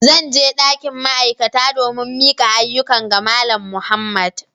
Zan je dakin ma'aikata domin mika ayyukan ga Malam Muhammad.